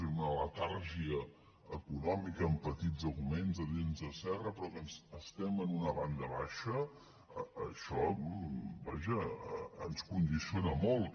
és una letargia econòmica amb petits augments de dents de serra però que estem en una banda baixa això vaja ens condiciona molt